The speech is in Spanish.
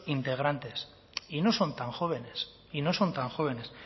integrantes y no son tan jóvenes y no son tan jóvenes